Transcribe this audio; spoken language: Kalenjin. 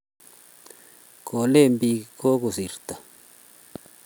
Ko lin biik kokosirto